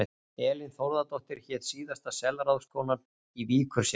Elín Þórðardóttir hét síðasta selráðskonan í Víkurseli.